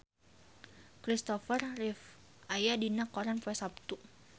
Kristopher Reeve aya dina koran poe Saptu